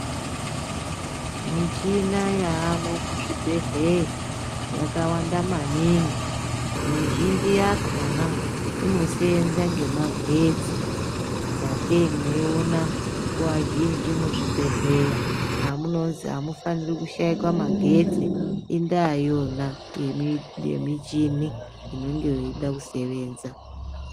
Michina yaamwo muzvibhedhleya yakawanda maningi mizhinji yakona inosenza ngemagetsi. Sakei mweiona nguva zhinji muzvibhedhleya hamunozi hamufaniri kushaika magetsi indaa iyona yemichini inonge yeida kusevenza.